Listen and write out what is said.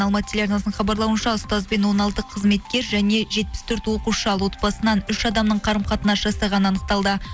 алматы телеарнасының хабарлауынша ұстазбен он алты қызметкер және жетпіс төрт оқушы ал отбасынан үш адамның қарым қатынас жасағаны анықталды